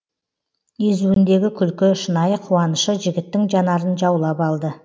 езуіндегі күлкі шынайы қуанышы жігіттің жанарын жаулап алды